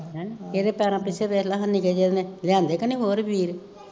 ਹੈਂ ਏਦੇ ਪੈਰਾਂ ਪਿੱਛੇ ਵੇਖਲਾ ਨਿਕੇ ਜੇ ਨੇ ਲਿਆਂਦੇ ਕਿ ਨਈਂ ਹੋਰ ਵੀਰ